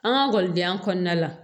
An ka ekɔlidenya kɔnɔna la